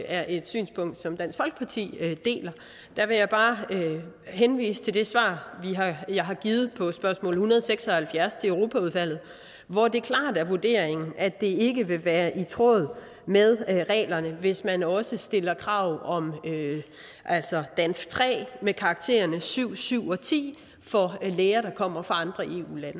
er et synspunkt som dansk folkeparti deler der vil jeg bare henvise til det svar jeg har givet på spørgsmål nummer en hundrede og seks og halvfjerds til europaudvalget hvor det klart er vurderingen at det ikke kan være i tråd med reglerne hvis man også stiller krav om dansk tre med karakterne syv syv og ti for læger der kommer fra andre eu